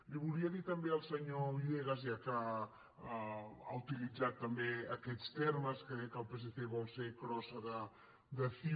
li volia dir també al senyor villegas ja que ha uti·litzat també aquests termes que deia que el psc vol ser crossa de ciu